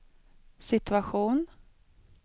situation